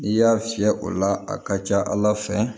N'i y'a fiyɛ o la a ka ca ala fɛ